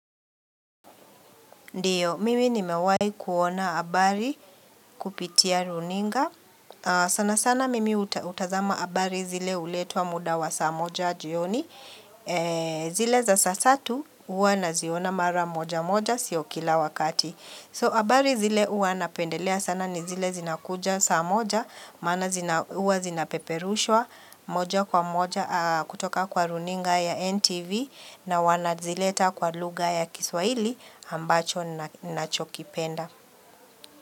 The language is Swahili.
Ndiyo, mimi ni mewahi kuona habari kupitia runinga. Sana sana mimi utazama habari zile huletwa muda wa saa moja jioni. Zile za saa tatu huwa na ziona mara moja moja sio kila wakati. So habari zile uwa napendelea sana ni zile zinakuja saa moja. Mana zina huwa zinapeperushwa moja kwa moja kutoka kwa runinga ya NTV. Na wanazileta kwa lugha ya kiswahili ambacho nacho kipenda.